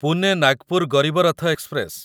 Pune Nagpur Garib Rath express